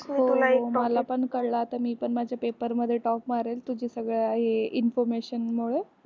मला पण कळ ला तर मी पण माझे paper मध्ये top मारेल तुझी सगळे information मुळे.